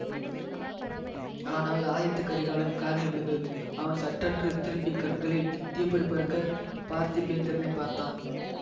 ஆனால் ஆதித்த கரிகாலன் காதில் விழுந்தது அவன் சட்டென்று திரும்பிக் கண்களில் தீப்பொறி பறக்கப் பார்த்திபேந்திரனைப் பார்த்தான்